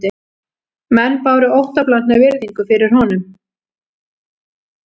Menn báru óttablandna virðingu fyrir honum